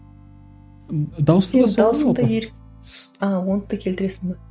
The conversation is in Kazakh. а оны да келтіресің бе